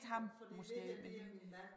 Fordi det her det er min mand